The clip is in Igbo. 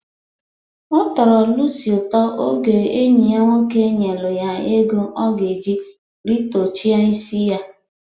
Ọ tọrọ Lusi ụtọ oge enyi ya nwoke nyelu ya ego ọ ga-eji rịtọchịa isi ya